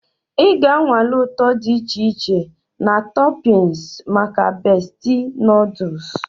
Ị ga-anwale ụtọ dị iche iche na toppings maka Bestie noodles.